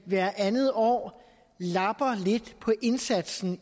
hvert andet år lapper lidt på indsatsen